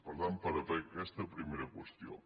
per tant per aquesta primera qüestió